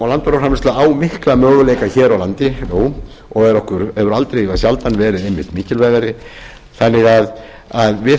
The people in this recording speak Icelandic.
og landbúnaðarframleiðsla á mikla möguleika hér á landi nú og hefur aldrei eða sjaldan verið einmitt mikilvægari þannig að við